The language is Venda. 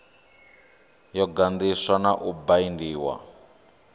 yo ganḓiswa na u baindiwa